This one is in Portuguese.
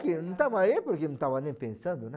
que não estava aí, porque não estava nem pensando, né?